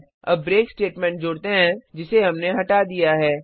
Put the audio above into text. अब break statement जोड़ते हैं जिसे हमने हटा दिया है